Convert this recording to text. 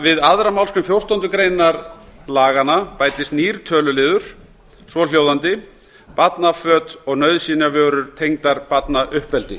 við aðra málsgrein fjórtándu greinar laganna bætist nýr töluliður svohljóðandi barnaföt og nauðsynjavörur tengdar barnauppeldi